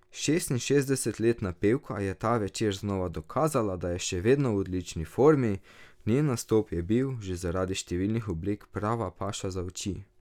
Šestinšestdesetletna pevka je ta večer znova dokazala, da je še vedno v odlični formi, njen nastop je bil, že zaradi številnih oblek, prava paša za oči.